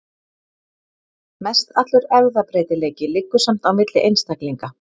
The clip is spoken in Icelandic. Mestallur erfðabreytileiki liggur samt á milli einstaklinga.